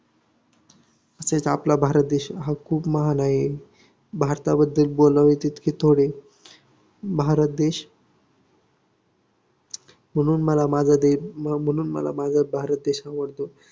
तसेच आपला भारत हा खूप महान आहे. भारताबद्दल बोलावे तितके थोडे भारत देश म्हणून मला माझा देश हम्म म्हणून मला माझा माझा भारत देश आवडतो.